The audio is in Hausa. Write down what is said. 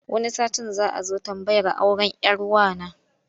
Wani satin za a zo tambayar auren 'yar wa na.